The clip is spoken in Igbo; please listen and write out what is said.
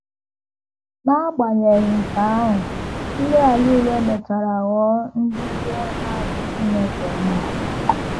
N’agbanyeghị nke ahụ, ndị a niile mechara ghọọ ndị ihe ha dị Chineke mma.